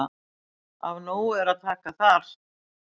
Af nógu er að taka þar.